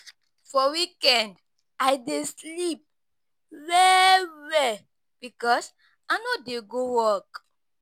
For weekend, I dey sleep well-well because I no dey go work.